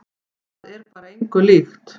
Það er bara engu líkt.